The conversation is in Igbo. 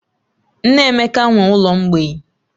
Nne Emeka nwe ụlọ mgbei